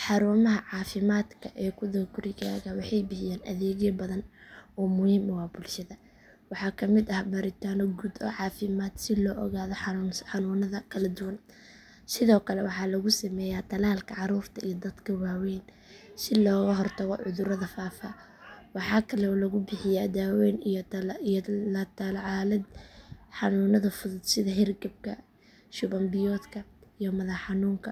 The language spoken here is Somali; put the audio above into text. Xarumaha caafimaadka ee ku dhow gurigaaga waxay bixiyaan adeegyo badan oo muhiim u ah bulshada. Waxaa ka mid ah baaritaanno guud oo caafimaad si loo ogaado xanuunada kala duwan. Sidoo kale waxaa lagu sameeyaa tallaalka carruurta iyo dadka waaweyn si looga hortago cudurrada faafa. Waxaa kale oo lagu bixiyaa daaweyn iyo la tacaalid xanuunada fudud sida hargabka, shuban biyoodka, iyo madax xanuunka.